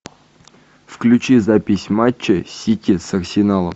включи запись матча сити с арсеналом